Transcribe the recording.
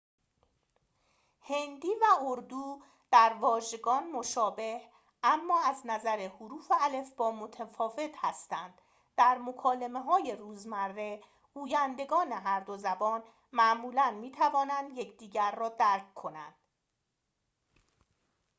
هندی و اردو در واژگان مشابه اما از نظر حروف الفبا متفاوت هستند در مکالمه‌های روزمره گویندگان هر دو زبان معمولاً می‌توانند یکدیگر را درک کنند